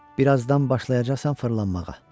Bir azdan başlayacaqsan fırlanmağa.